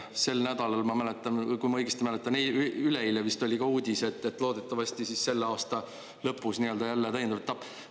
Sel nädalal, kui ma õigesti mäletan, üleeile vist, oli ka uudis, et loodetavasti selle aasta lõpus nii-öelda jälle täiendav etapp.